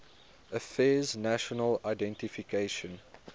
affairs national identification